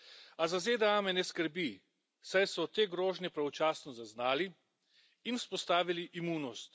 A za ZDA me ne skrbi, saj so te grožnje pravočasno zaznali in vzpostavili imunost.